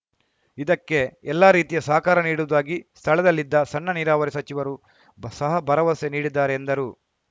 ಇದಕ್ಕೆ ಎಲ್ಲಾ ರೀತಿಯ ಸಹಕಾರ ನೀಡುವುದಾಗಿ ಸ್ಥಳದಲ್ಲಿದ್ದ ಸಣ್ಣ ನೀರಾವರಿ ಸಚಿವರು ಬ ಸಹ ಭರವಸೆ ನೀಡಿದ್ದಾರೆ ಎಂದರು